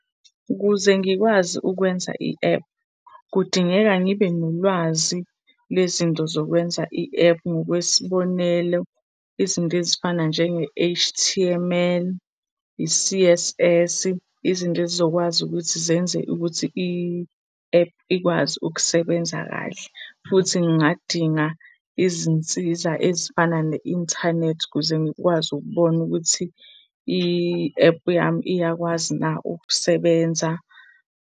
Ukuze ngikwazi ukwenza i-app, kudingeka ngibe nolwazi lezinto zokwenza i-app. Ngokwesibonelo, izinto ezifana njenge-H_T_M_L, i-C_S_S, izinto ezizokwazi ukuthi zenze ukuthi i-app ikwazi ukusebenza kahle. Futhi ngingadinga izinsiza ezifana ne-inthanethi ukuze ngikwazi ukubona ukuthi i-app yami iyakwazi na ukusebenza.